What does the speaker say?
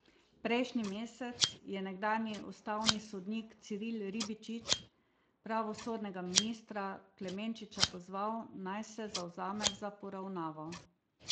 Prejšnji mesec je nekdanji ustavni sodnik Ciril Ribičič pravosodnega ministra Klemenčiča pozval, naj se zavzame za poravnavo.